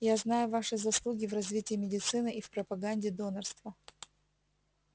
я знаю ваши заслуги в развитии медицины и в пропаганде донорства